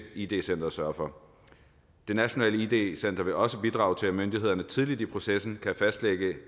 id center sørge for nationalt id center vil også bidrage til at myndighederne tidligt i processen kan fastlægge